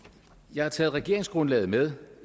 jeg har taget regeringsgrundlaget med